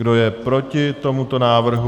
Kdo je proti tomuto návrhu?